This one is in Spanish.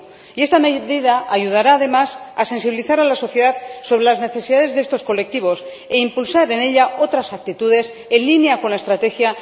5. Y esta medida ayudará, además, a sensibilizar a la sociedad sobre las necesidades de estos colectivos y a impulsar en ella otras actitudes en línea con la Estrategia